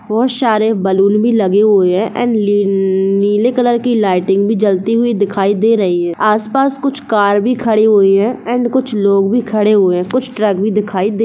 बहुत सारे बलून भी लगे हुए है एण्ड ली-ली नीले कलर की लाइटिंग भी जलती हुई दिखाई दे रही है आसपास कुछ कार भी खड़ी हुई है एण्ड कुछ लोग भी खड़े हुए है कुछ ट्रक भी दिखाई दे --